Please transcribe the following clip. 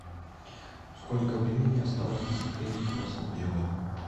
сколько времени осталось до закрытия красно белое